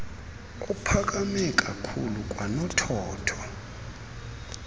ophakame kakhlulu kwanothotho